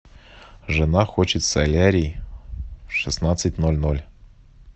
жена хочет солярий в шестнадцать ноль ноль